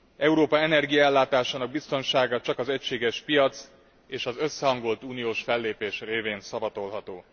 Európa energiaellátásának biztonsága csak az egységes piac és az összehangolt uniós fellépés révén szavatolható.